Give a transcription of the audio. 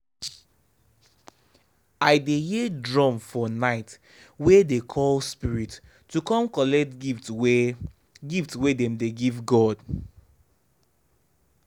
i dey hear drum for night wey dey call spirits to come collect gift wey gift wey dem dey give god.